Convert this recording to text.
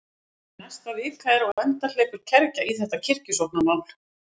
Áður en næsta vika er á enda hleypur kergja í þetta kirkjusóknarmál.